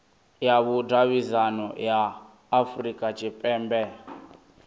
ya vhudavhidzano ya afurika tshipembe